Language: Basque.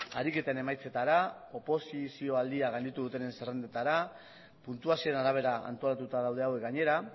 ariketen emaitzetara oposizio aldia gainditu dutenen zerrendetara puntuazioen arabera antolatuta daude hauek gainera